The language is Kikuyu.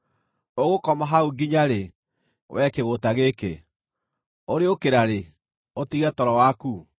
Ũgũkoma hau nginya-rĩ, wee kĩgũũta gĩkĩ? Ũrĩũkĩra rĩ, ũtige toro waku?